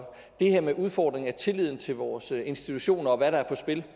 det her med udfordringen af tilliden til vores institutioner og hvad der er på spil